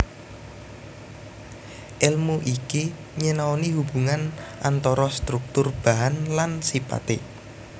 Èlmu iki nyinaoni hubungan antara struktur bahan lan sipaté